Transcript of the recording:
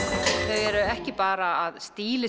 þau eru ekki bara að